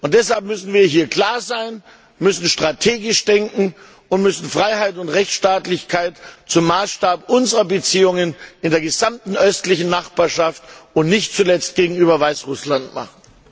Und deshalb müssen wir hier klar sein, müssen strategisch denken und müssen Freiheit und Rechtsstaatlichkeit zum Maßstab unserer Beziehungen in der gesamten östlichen Nachbarschaft, und nicht zuletzt gegenüber Weißrussland, machen.